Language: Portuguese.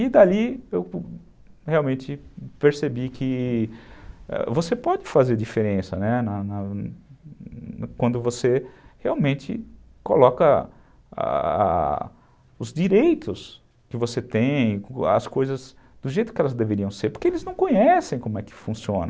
E dali eu realmente percebi que você pode fazer diferença, né, quando você realmente coloca ah ah os direitos que você tem, as coisas do jeito que elas deveriam ser, porque eles não conhecem como é que funciona.